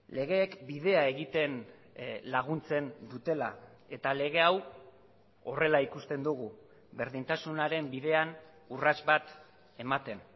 legeek bidea egiten laguntzen dutela eta lege hau horrela ikusten dugu berdintasunaren bidean urrats bat ematen